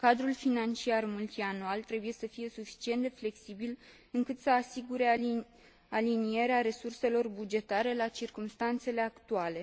Cadrul financiar multianual trebuie să fie suficient de flexibil, încât să asigure alinierea resurselor bugetare la circumstanțele actuale.